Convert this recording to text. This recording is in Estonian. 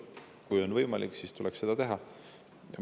Kui on võimalik, siis tuleb seda teha.